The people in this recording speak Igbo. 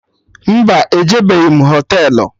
Mba, ejebeghi m Họtelụ